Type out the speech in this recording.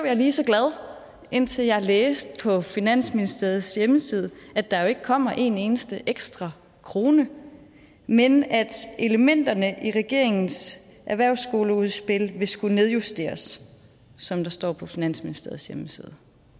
jeg lige så glad indtil jeg læste på finansministeriets hjemmeside at der jo ikke kommer en eneste ekstra krone men at elementerne i regeringens erhvervsskoleudspil vil skulle nedjusteres som der står på finansministeriets hjemmeside